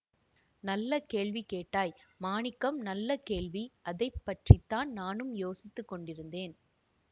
நல்ல கேள்வி கேட்டாய் மாணிக்கம் நல்ல கேள்வி அதை பற்றி தான் நானும் யோசித்து கொண்டிருந்தேன்